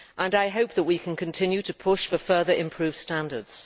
I hope we can continue to push for further improved standards.